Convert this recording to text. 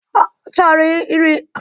Ọ chọrọ iri agwa.